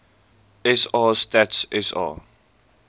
sa stats sa